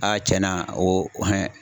tiɲɛna o